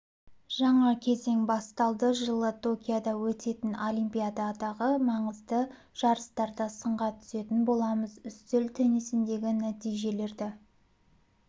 жаңа кезең басталды жылы токиода өтетін олимпиададағы маңызды жарыстарда сынға түсетін боламыз үстел теннисіндегі нәтижелерді